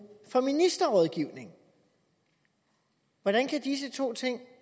for ministerrådgivning hvordan kan disse to ting